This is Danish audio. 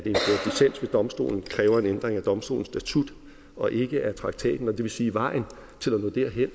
domstolen kræver en ændring af domstolens statut og ikke af traktaten og det vil sige at vejen til